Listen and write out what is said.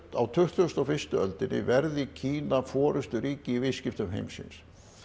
á tuttugustu og fyrstu öldinni verði Kína forysturíki í viðskiptum heimsins